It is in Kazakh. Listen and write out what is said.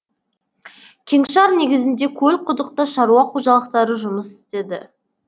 кеңшар негізінде көлқұдықта шаруа қожалықтары жұмыс істеді